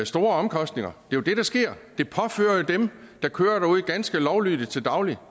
store omkostninger det jo det der sker det påfører jo pludselig dem der kører derude ganske lovlydigt til daglig